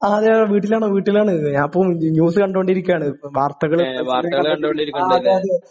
ആ അതെ വീട്ടിലാണ് വീട്ടിലാണ്. ഞാനിപ്പോൾ ന്യൂസ് കണ്ടോണ്ടിരിക്കുവാണ് വാർത്തകള് ആ അതെ അതെ